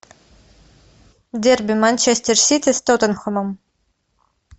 дерби манчестер сити с тоттенхэмом